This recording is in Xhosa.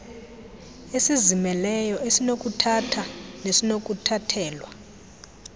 esizimeleyo esinokuthatha nesinokuthathelwa